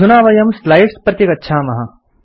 अधुना वयं स्लाइड्स् प्रति गच्छामः